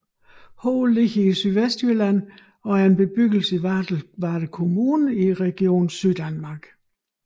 Ho ligger i Sydvestjylland og er en bebyggelse i Varde Kommune i Region Syddanmark